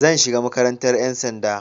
Zan shiga makarantar 'yan sanda.